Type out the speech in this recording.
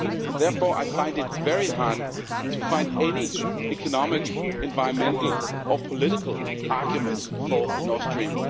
Therefore I find it very hard to identify any economic, environmental or political arguments for Nord Stream